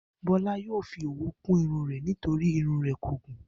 Bó̩lá yóò fi òwú kún irun rè̩ nítorí irun rè̩ kò gùn